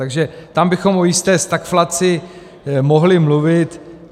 Takže tam bychom o jisté stagflaci mohli mluvit.